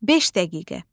Beş dəqiqə.